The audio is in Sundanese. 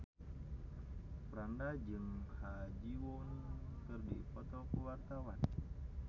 Franda jeung Ha Ji Won keur dipoto ku wartawan